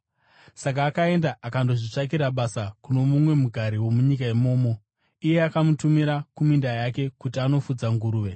Saka akaenda akandozvitsvakira basa kuno mumwe mugari womunyika imomo, iye akamutumira kuminda yake kuti anofudza nguruve.